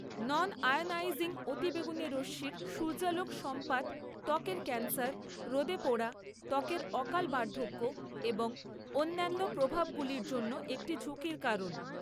নন ionising অতিবেগুনী রশ্মির সূর্যালোক সম্পাত ত্বকের ক্যান্সার, রোদে পোড়া, ত্বকের অকাল বার্ধক্য এবং অন্যান্য প্রভাবগুলির জন্য একটি ঝুঁকির কারণ।